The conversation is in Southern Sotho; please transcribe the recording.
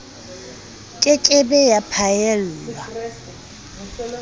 ke ke be ya phaellwa